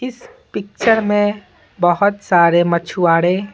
इस पिक्चर में बहुत सारे मछुआड़े--